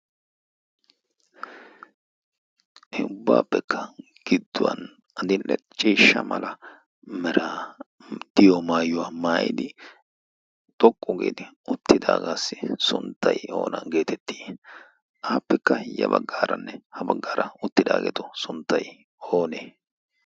he ubbaappekka gidduwan adinlacciishsha mala mara diyo maayuwaa maayidi xoqqu geeti uttidaagaassi sunttai oona geetettii appekka hiyya baggaaranne ha baggaara uttidaageetu sunttay oonee?